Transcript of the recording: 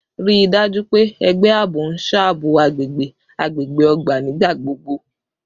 Rii daju pe ẹgbẹ aabo n ṣabọ agbegbe agbegbe ogba nigbagbogbo